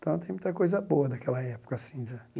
Então, tem muita coisa boa daquela época assim né.